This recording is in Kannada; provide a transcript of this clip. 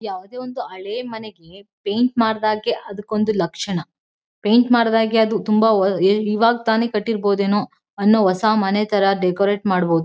ಯಾವುದೇ ಒಂದು ಹಳೇ ಮನೆಗೆ ಪೈಂಟ್ ಮಾಡ್ದಗೆ ಅದಕ್ಕ್ ಒಂದು ಲಕ್ಷಣ. ಪೈಂಟ್ ಮಾಡ್ದಗೆ ಈವಾಗ್ ತಾನೇ ಕಟ್ಟಿರಬಹುದೇನೋ ಅನ್ನೋ ಹೊಸ ಮನೆ ಥರ ಡೆಕೋರಟ್ ಮಾಡಬಹುದು.